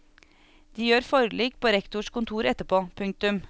De gjør forlik på rektors kontor etterpå. punktum